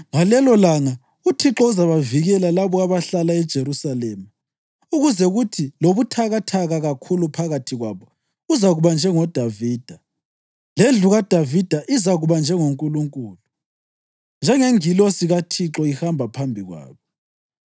Ngalelolanga uThixo uzabavikela labo abahlala eJerusalema, kuze kuthi lobuthakathaka kakhulu phakathi kwabo uzakuba njengoDavida, lendlu kaDavida izakuba njengoNkulunkulu, njengeNgilosi kaThixo ihamba phambi kwabo.